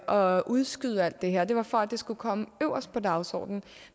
og udskyde alt det her det var for at det skulle komme øverst på dagsordenen